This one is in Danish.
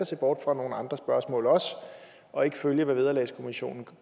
se bort fra nogle andre spørgsmål og og ikke at følge hvad vederlagskommissionen